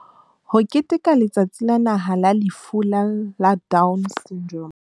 Ho keteka Letsatsi la Naha la Lefu la Down Syndrome